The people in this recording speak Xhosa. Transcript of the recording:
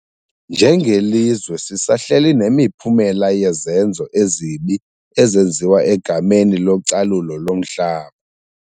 Njengelizwe sisahleli nemiphumela yezenzo ezibi ezenziwa egameni localulo lomhlaba.